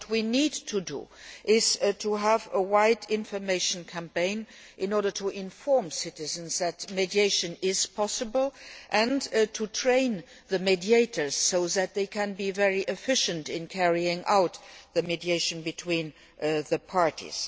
We need to have a broad information campaign in order to inform citizens that mediation is possible and to train the mediators so that they can be very efficient in carrying out mediation between the parties.